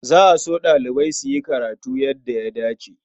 Za a so ɗalibai su yi karatu yadda ya dace.